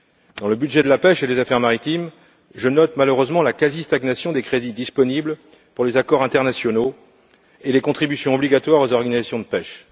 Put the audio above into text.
Dans le budget de la pêche et des affaires maritimes, je note malheureusement la quasi stagnation des crédits disponibles pour les accords internationaux et les contributions obligatoires aux organisations de pêche.